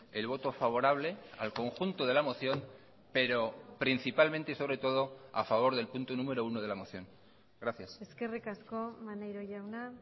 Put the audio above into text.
el voto favorable al conjunto de la moción pero principalmente y sobre todo a favor del punto número uno de la moción gracias eskerrik asko maneiro jauna